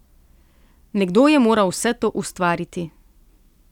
Nekdo je moral vse to ustvariti.